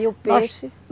E o peixe?